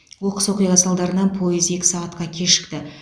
оқыс оқиға салдарынан пойыз екі сағатқа кешікті